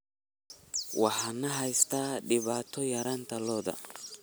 Waxaa na haysata dhibaato yaraanta lo'da.